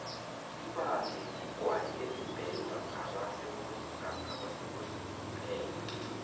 ibange ligwayi elibhenywa ngabekosini kuphela